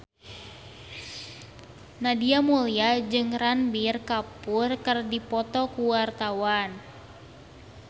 Nadia Mulya jeung Ranbir Kapoor keur dipoto ku wartawan